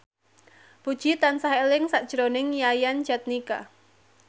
Puji tansah eling sakjroning Yayan Jatnika